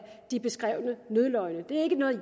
de beskrevne nødløgne det er ikke noget